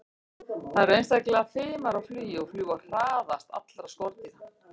Þær eru einstaklega fimar á flugi og fljúga hraðast allra skordýra.